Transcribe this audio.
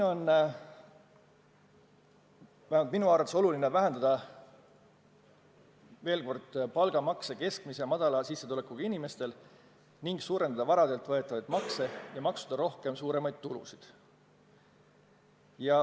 Minu arvates on oluline vähendada veelgi palgalt võetavaid makse keskmise ja väikese sissetulekuga inimestel ning suurendada varadelt võetavaid makse ja maksustada rohkem suuremaid tulusid.